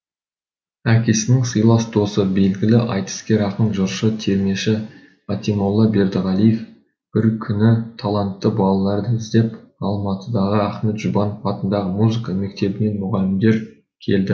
әкесінің сыйлас досы белгілі айтыскер ақын жыршы термеші қатимолла бердіғалиев бір күні талантты балаларды іздеп алматыдағы ахмет жұбанов атындағы музыка мектебінен мұғалімдер келді